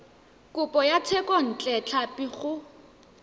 kopo ya thekontle tlhapi go